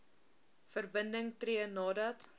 verbinding tree nadat